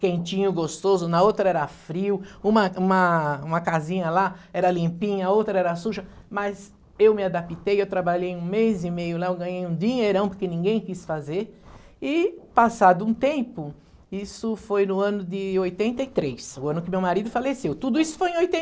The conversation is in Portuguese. quentinho, gostoso, na outra era frio, uma uma uma casinha lá era limpinha, a outra era suja, mas eu me adaptei, eu trabalhei um mês e meio lá, eu ganhei um dinheirão porque ninguém quis fazer, e passado um tempo, isso foi no ano de oitenta e três, o ano que meu marido faleceu, tudo isso foi em